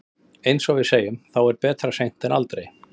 Eins og við segjum, þá er betra seint en aldrei.